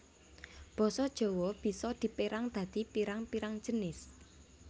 Basa Jawa bisa dipérang dadi pirang pirang jinis